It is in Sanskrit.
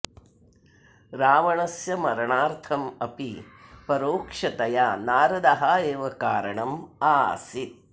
रावणस्य मरणार्थम् अपि परोक्षतया नारदः एव कारणम् आसीत्